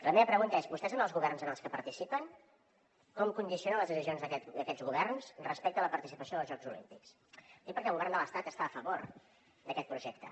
la meva pregunta és vostès en els governs en els que participen com condicionen les decisions d’aquests governs respecte a la participació als jocs olímpics ho dic perquè el govern de l’estat està a favor d’aquest projecte